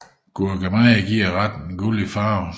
Gurkemeje giver retten en gullig farve